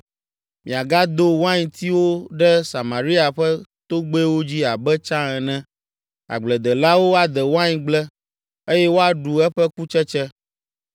Miagado waintiwo ɖe Samaria ƒe togbɛwo dzi abe tsã ene; agbledelawo ade waingble, eye woaɖu eƒe kutsetse.